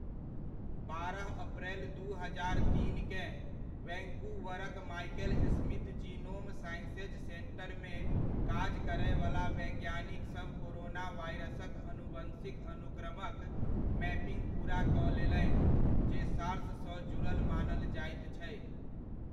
बारह अप्रैल दू हजार तीनकेँ, वैंकूवरक माइकल स्मिथ जीनोम साइंसेज सेन्टरमे काज करयवला वैज्ञानिकसभ कोरोना वायरसक अनुवंशिक अनुक्रमक मैपिंग पूरा कऽ लेलनि जे सार्स सँ जुड़ल मानल जाइत छै।